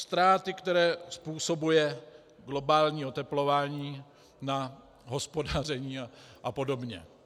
Ztráty, které způsobuje globální oteplování na hospodaření a podobně.